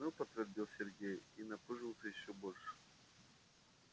ну подтвердил сергей и напыжился ещё больше